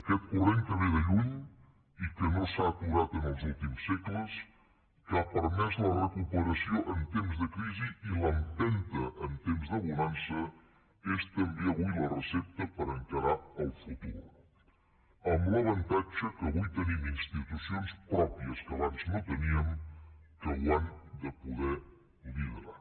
aquest corrent que ve de lluny i que no s’ha aturat els últims segles que ha permès la recuperació en temps de crisi i l’empenta en temps de bonança és també avui la recepta per a encarar el futur amb l’avantatge que avui tenim institucions pròpies que abans no teníem que ho han de poder liderar